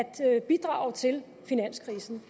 til at bidrage til finanskrisen